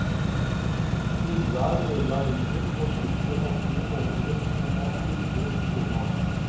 Uværet ødela riggen, og skipperen måtte gi ordren om å hugge stormasten.